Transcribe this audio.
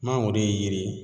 Mangoro ye yiri ye